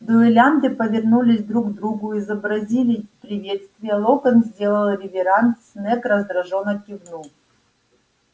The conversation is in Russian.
дуэлянты повернулись друг к другу изобразили приветствие локонс сделал реверанс снегг раздражённо кивнул